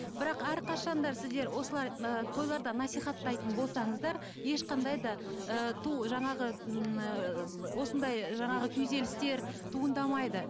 бірақ әрқашанда сіздер осылай ы тойларда насихаттайтын болсаңыздар ешқандай да ы жаңағы м ыыы осындай жаңағы күйзелістер туындамайды